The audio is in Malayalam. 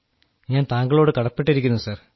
ഞാൻ താങ്കളോട് കടപ്പെട്ടിരിക്കുന്നു സർ